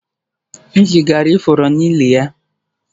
M zigara ifuru n'ili ya